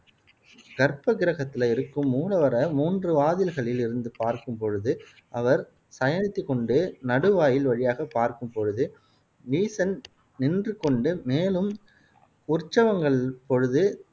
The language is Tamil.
கற்பக் கிரகத்தில இருக்கும் மூலவரை மூன்று வாதில்களில் இருந்து பார்க்கும் பொழுது அவர் சயனித்துக் கொண்டு, நடு வாயில் வழியாகப் பார்க்கும் பொழுது ஈசன் நின்று கொண்டு, மேலும் உற்சவங்கள் பொழுது